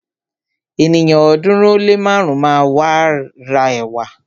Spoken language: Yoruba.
Ènìyàn ọ̀ọ́dúnrún ó lé márùn máa ra ẹ̀wà.